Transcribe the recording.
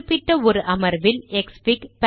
குறிப்பிட்ட ஒரு அமர்வில் க்ஸ்ஃபிக்